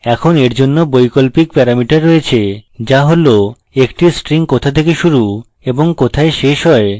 এখন এর জন্য বৈকল্পিক প্যারামিটার রয়েছে যা হল একটি string কোথা থেকে শুরু এবং কোথায় শেষ হয়